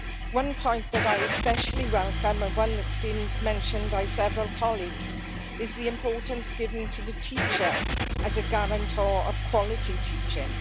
One point that I especially welcome, and one that has been mentioned by several colleagues, is the importance given to the teacher as a guarantor of quality teaching.